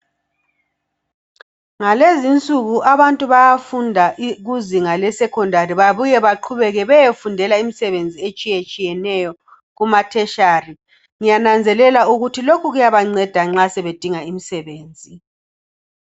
Ngalezinsuku abantu bayafunda i kuzinga lesecondary babuyebaqhubeke beyefundela imsebenzi etshiyatshiyeneyo kumatertiary. Ngiyananzelela ukuthi lokhu kuyabanceda nxa sebedinga imisebenzi.